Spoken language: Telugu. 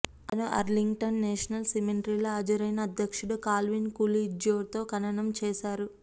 అతను అర్లింగ్టన్ నేషనల్ సిమెట్రీలో హాజరైన అధ్యక్షుడు కాల్విన్ కూలిడ్జ్తో ఖననం చేశారు